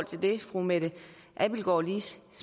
til det fru mette abildgaard lige